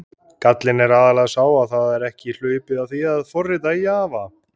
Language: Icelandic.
Gallinn er aðallega sá að það er ekki hlaupið að því að forrita í Java.